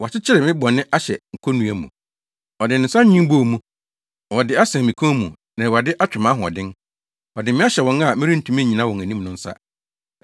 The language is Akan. “Woakyekyere me bɔne ahyɛ konnua mu; ɔde ne nsa nwen bɔɔ mu. Wɔde asɛn me kɔn mu na Awurade atwe mʼahoɔden. Ɔde me ahyɛ wɔn a merentumi nnyina wɔn anim no nsa.